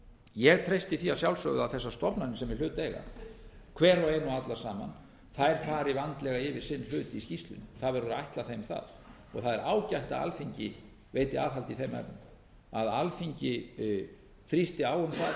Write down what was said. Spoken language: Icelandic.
ég treysti því að sjálfsögðu að þessar stofnanir sem í hlut eiga hver og ein og allar saman þær fari vandlega yfir sinn hlut í skýrslunni það verður að ætla þeim það það er ágætt að alþingi veiti aðhald í þeim efnum að alþingi þrýsti á um það og